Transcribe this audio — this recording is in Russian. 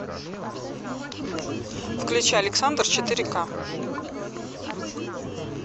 включи александр четыре ка